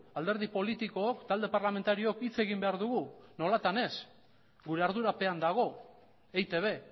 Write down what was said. alderdi politikook talde parlamentariook hitz egin behar dugu nolatan ez gure ardurapean dago eitb